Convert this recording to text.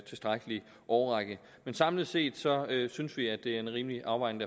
tilstrækkelig årrække men samlet set synes vi at det er en rimelig afvejning